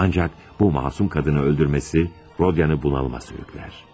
Ancak bu masum kadını öldürmesi Rodia'nı bunalıma sürükler.